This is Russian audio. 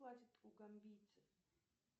платят у гамбийцев